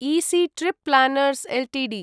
EC trip planners Ltd